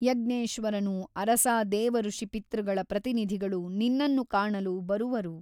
ಯಜ್ಞೇಶ್ವರನು ಅರಸಾ ದೇವಋಷಿಪಿತೃಗಳ ಪ್ರತಿನಿಧಿಗಳು ನಿನ್ನನ್ನು ಕಾಣಲು ಬರುವರು.